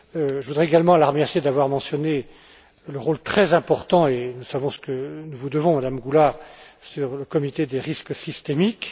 Je voudrais également la remercier d'avoir mentionné le rôle très important et nous savons ce que nous vous devons, Madame Goulard du comité du risque systémique.